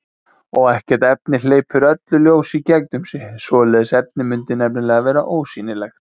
Og ekkert efni hleypir öllu ljósi í gegnum sig, svoleiðis efni mundi nefnilega vera ósýnilegt.